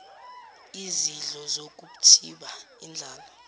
izidlo zokuthiba indlala